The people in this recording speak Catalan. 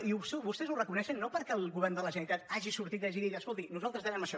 i vostès ho reconeixen no perquè el govern de la ge·neralitat hagi sortit i hagi dit escolti nosaltres de·vem això